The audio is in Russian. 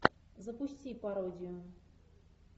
запусти пародию